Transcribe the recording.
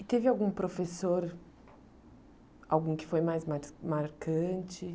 E teve algum professor, algum que foi mais mas marcante?